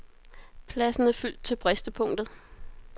Pladsen er fyldt til bristepunktet.